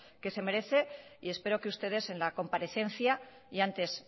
que se merece y espero que ustedes en la comparecencia y antes